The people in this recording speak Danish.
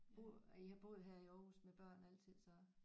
Bor og I har boet her i Aarhus med børn altid så